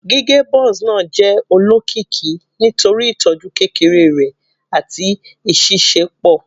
Gige Buzz naa jẹ olokiki nitori itọju kekere rẹ ati iṣiṣẹpọ